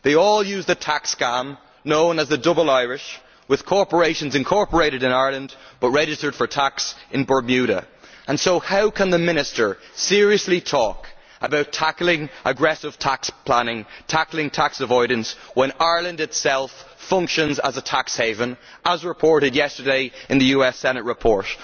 They all use the tax scam known as the double Irish', with corporations incorporated in Ireland but registered for tax in Bermuda. So how can the Minister seriously talk about tackling aggressive tax planning and tax avoidance when Ireland itself functions as a tax haven, as reported yesterday in the US Senate report?